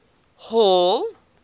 hall